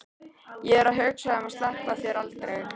Ég er að hugsa um að sleppa þér aldrei.